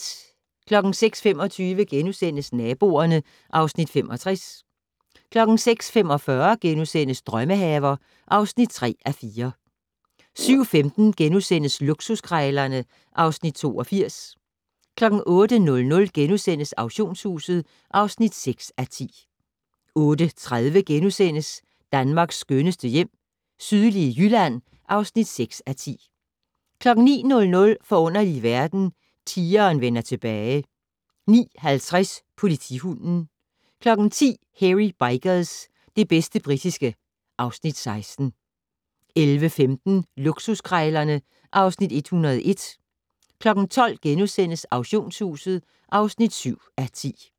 06:25: Naboerne (Afs. 65)* 06:45: Drømmehaver (3:4)* 07:15: Luksuskrejlerne (Afs. 82)* 08:00: Auktionshuset (6:10)* 08:30: Danmarks skønneste hjem - sydlige Jylland (6:10)* 09:00: Forunderlige verden - Tigeren vender tilbage 09:50: Politihunden 10:00: Hairy Bikers - det bedste britiske (Afs. 16) 11:15: Luksuskrejlerne (Afs. 101) 12:00: Auktionshuset (7:10)*